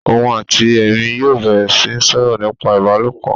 Òun àti èmi yóò bẹ̀rẹ̀ sí ń sọ̀rọ̀ nípa ìbálòpọ̀